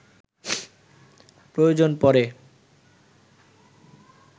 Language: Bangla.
প্রয়োজন পড়ে